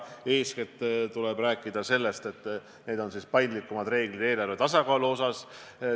Eeskätt tuleb rääkida sellest, et kehtestatakse paindlikumad reeglid eelarvetasakaalu kohta.